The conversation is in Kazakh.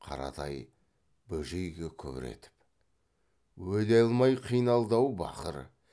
қаратай бөжейге күбір етіп өле алмай қиналды ау бақыр